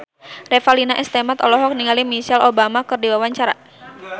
Revalina S. Temat olohok ningali Michelle Obama keur diwawancara